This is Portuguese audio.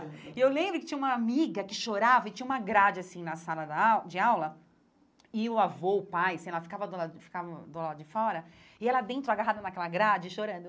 E eu lembro que tinha uma amiga que chorava e tinha uma grade, assim, na sala da au de aula, e o avô, o pai, sei lá ficava do lado ficava do lado de fora, e ela dentro, agarrada naquela grade, chorando.